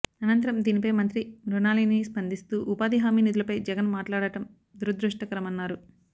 అనంతరం దీనిపై మంత్రి మృణాళిని స్పందిస్తూ ఉపాధి హామీ నిధులపై జగన్ మాట్లాడటం దురదృష్టకరమన్నారు